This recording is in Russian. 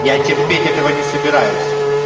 я терпеть этого не собираюсь